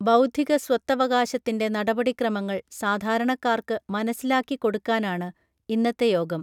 ബൗദ്ധിക സ്വത്തവകാശത്തിൻറെ നടപടിക്രമങ്ങൾ സാധാരണക്കാർക്ക് മനസിലാക്കിക്കൊടുക്കാനാണ് ഇന്നത്തെ യോഗം